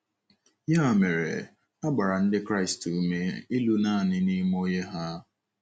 Ya mere, a gbara Ndị Kraịst ume ịlụ nanị n’ime Onye ha.